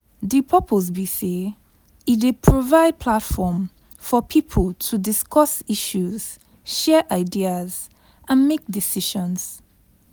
di purpose be say e dey provide platform for people to discuss issues, share ideas and make decisions.